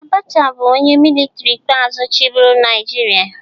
Abacha bụ onye militri ikpeazụ chịburu Naịjiria